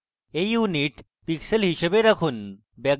এই unit pixels হিসাবে রাখুন